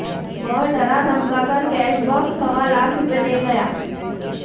वह डरा धमका कर कैश बॉक्स सवा लाख रुपए ले गए